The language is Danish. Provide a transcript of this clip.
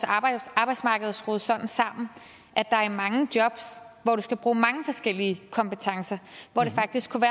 arbejdsmarked er jo skruet sådan sammen at der er mange jobs hvor du skal bruge mange forskellige kompetencer hvor det faktisk kunne